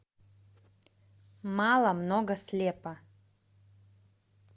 мало много слепо